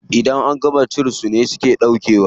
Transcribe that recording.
Idan an gama ci su suke ɗaukewa.